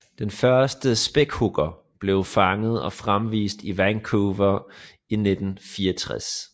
Den første spækhugger blev fanget og fremvist i Vancouver i 1964